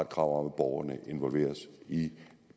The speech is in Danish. krav om at borgerne involveres i